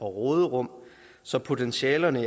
råderum så potentialerne